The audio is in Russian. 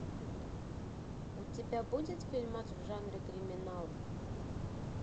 у тебя будет фильмак в жанре криминал